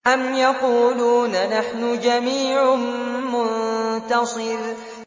أَمْ يَقُولُونَ نَحْنُ جَمِيعٌ مُّنتَصِرٌ